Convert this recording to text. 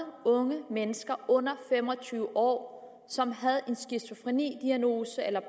unge mennesker under fem og tyve år som havde en skizofrenidiagnose eller